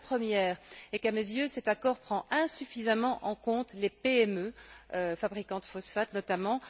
La première est qu'à mes yeux, cet accord prend insuffisamment en compte les PME qui fabriquent des phosphates notamment.